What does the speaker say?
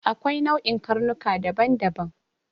Akwai nau'in karnuka daban-daban.